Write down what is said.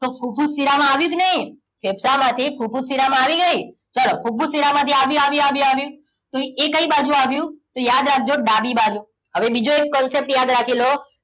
તો ફુફુસ શિરામાં આવ્યું કે નહીં ફેફસામાંથી ફુફુસ શિરામા આવ્યું કે નહી ચલો ફુફુસ શિરા માંથી આવ્યું આવ્યું આવ્યું તો એ કઈ બાજુ આવ્યું તો યાદ રાખજો ડાબી બાજુ હવે બીજો એક concept યાદ રાખી લો